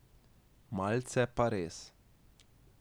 Malce pa res.